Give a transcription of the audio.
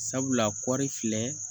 Sabula kɔri filɛ